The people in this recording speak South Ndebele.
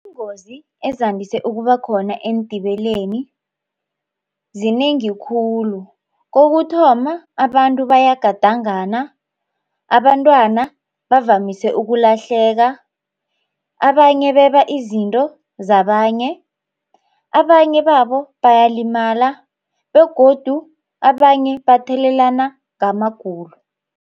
Iingozi ezandise ukuba khona eentimeleni zinengi khulu, kokuthoma abantu bayagadangana abantwana bavamise ukulahleka abanye beba izinto zabanye abanye babo bayalimala begodu abanye bathelelana ngamagulo.